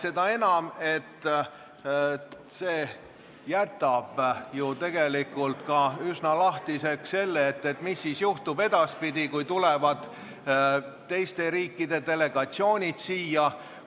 Seda enam, et see jätab ju tegelikult üsna lahtiseks, mis siis juhtub edaspidi, kui tulevad teiste riikide delegatsioonid siia.